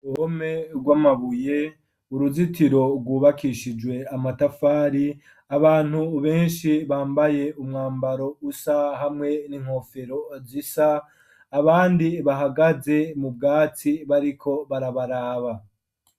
Ome rw' amabuye uruzitiro rwubakishijwe amatafari abantu benshi bambaye umwambaro usa hamwe n'inkofero azisa abandi bahagaze mu bwatsi bariko barabaraba.